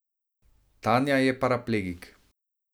Tanja je paraplegik.